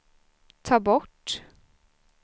ta bort